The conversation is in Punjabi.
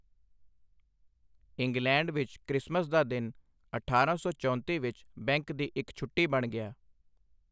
ਇੰਗਲੈਂਡ ਵਿੱਚ, ਕ੍ਰਿਸ਼ਮਸ ਦਾ ਦਿਨ ਅਠਾਰਾਂ ਸੌ ਚੌਂਤੀ ਵਿਚ ਬੈਂਕ ਦੀ ਇਕ ਛੁੱਟੀ ਬਣ ਗਿਆ।